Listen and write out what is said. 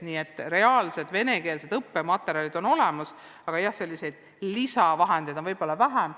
Nii et reaalsed venekeelsed õppematerjalid on olemas, aga jah, selliseid lisavahendeid on võib-olla vähem.